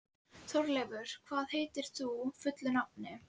Þórleifur, hvað heitir þú fullu nafni?